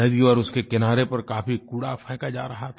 नदी और उसके किनारे पर काफ़ी कूड़ा फेका जा रहा था